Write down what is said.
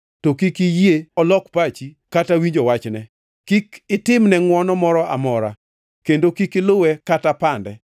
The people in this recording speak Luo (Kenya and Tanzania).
to kik iyie olok pachi kata winjo wachne. Kik itimne ngʼwono moro amora kendo kik iluwe kata pande.